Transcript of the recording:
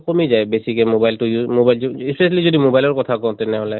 কমি যায় বেছি mobile টো use mobile টো specially যদি mobile ৰ কথা কওঁ তেনেহলে